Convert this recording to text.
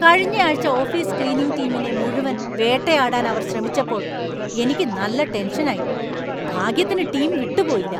കഴിഞ്ഞയാഴ്ച office cleaning ടീമിനെ മുഴുവൻ വേട്ടയാടാൻ അവര്‍ ശ്രമിച്ചപ്പോൾ എനിക്ക് നല്ല ടെൻഷനായി . ഭാഗ്യത്തിന് ടീം വിട്ടുപോയില്ല.